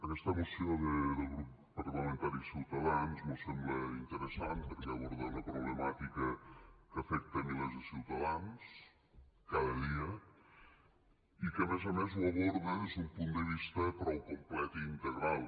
aquesta moció del grup parlamentari ciutadans mos sembla interessant perquè aborda una problemàtica que afecta milers de ciutadans cada dia i que a més a més ho aborda des d’un punt de vista prou complet i integral